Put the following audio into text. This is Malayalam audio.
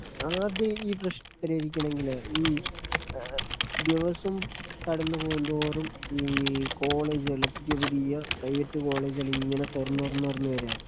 ആത്യം ഈ പ്രശ്നം പരിഹരിക്കണെങ്കിലേ ഈ ആ ദിവസവും കടന്നു പോകുന്തോറും ഈ കോളേജുകള് പുതിയ പുതിയ പ്രൈവറ്റ് കോളേജുകളിങ്ങനെ തുറന്നു തുറന്നു തുറന്നു വാരികയ.